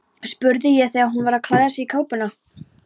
spurði ég þegar hún var að klæða sig í kápuna.